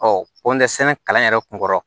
Ɔ ko nɛgɛsɛnɛ kalan yɛrɛ kun kɔrɔ